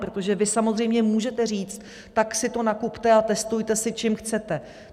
Protože vy samozřejmě můžete říct: Tak si to nakupte a testujte si, čím chcete.